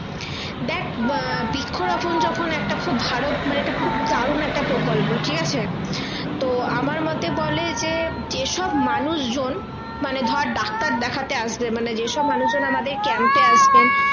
দেখ বৃক্ষ রোপন যখন একটা খুব ভালো মানে খুব দারুন একটা প্রকল্প ঠিক আছে তো আমার মতে বলে যে যে সব মানুষ জন মানে ধরে ডাক্তার দেখাতে আসবে মানে যেসব মানুষ জন আমাদের camp এ আসবেন